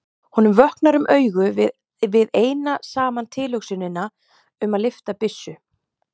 Honum vöknar um augu við eina saman tilhugsunina um að lyfta byssu.